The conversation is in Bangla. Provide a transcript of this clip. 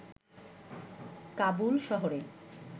কাবুল শহরে